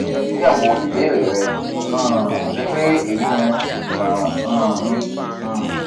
mo ti ṣe atunyẹwo ibeere rẹ um ati pe eyi ni imọran um mi um